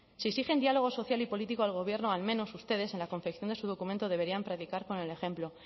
si exigen diálogo social y político al gobierno al menos ustedes en la confección de su documento deberían predicar con el ejemplo